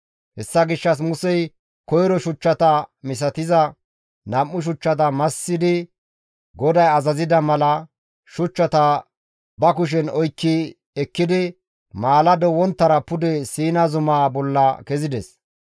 Hessa gishshas Musey koyro shuchchata misatiza nam7u shuchchata massidi GODAY azazida mala, shuchchata ba kushen oykki ekkidi, maalado wonttara pude Siina zumaa bolla kezides.